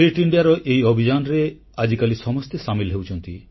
fit ଇଣ୍ଡିଆର ଏହି ଅଭିଯାନରେ ଆଜିକାଲି ସମସ୍ତେ ସାମିଲ ହେଉଛନ୍ତି